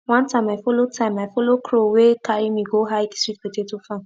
one time i follow time i follow crow wey carry me go hide sweet potato farm